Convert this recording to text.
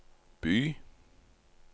by